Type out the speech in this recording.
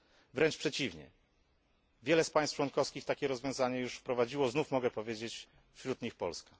Wręcz przeciwnie wiele z państw członkowskich takie rozwiązanie już wprowadziło i znów mogę powiedzieć, że wśród nich jest Polska.